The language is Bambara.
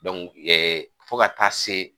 ɛɛ fo ka taa se.